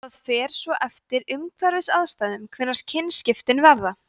það fer svo eftir umhverfisaðstæðum hvenær kynskiptin verða